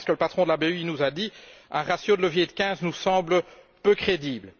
J'entends bien ce que le patron de la BEI nous a dit Un ratio de levier de 15 nous semble peu crédible.